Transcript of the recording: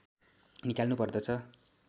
निकाल्नु पर्दछ